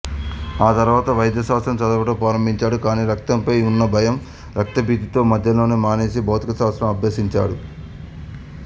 ఆ తరువాత వైద్యశాస్త్రం చదవటం ప్రారంభించాడు కానీ రక్తంపై ఉన్న భయం రక్తభీతి తో మధ్యలోనే మానేసి భౌతికశాస్త్రం అభ్యసించాడు